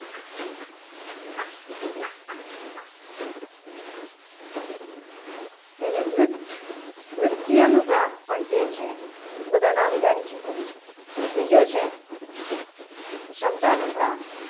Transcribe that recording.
એને વૃદ્ધ નૃત્યાનુપ્રાસ પણ કહે. છે બધા નામ જાણીને શું કરવું છે. બીજો છે શબ્દાનુપ્રાસ